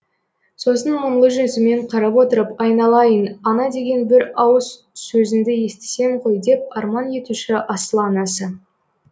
сосын мұңлы жүзімен қарап отырып айналайын ана деген бір ауыз сөзіңді естісем ғой деп арман етуші асыл анасы